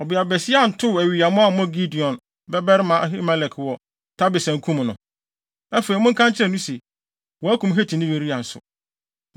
Ɔbeabasia antow awiyammo ammɔ Gideon babarima Abimelek wɔ Tebes ankum no?’ Afei, monka nkyerɛ no se, wɔakum Hetini Uria nso.”